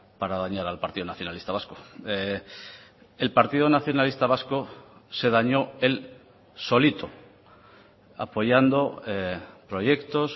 para dañar al partido nacionalista vasco el partido nacionalista vasco se dañó él solito apoyando proyectos